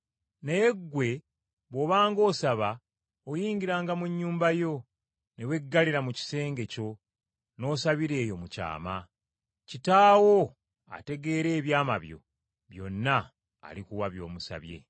Naye ggwe bw’obanga osaba, oyingiranga mu nnyumba yo, ne weggalira mu kisenge kyo n’osabira eyo mu kyama. Kitaawo ategeera ebyama byo byonna alikuwa by’omusabye.